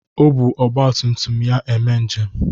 O bu ọgbatumtum ya eme njem.